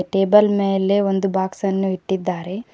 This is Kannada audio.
ಟೇಬಲ್ ಮೇಲೆ ಒಂದು ಬಾಕ್ಸ್ ಅನ್ನು ಇಟ್ಟಿದ್ದಾರೆ.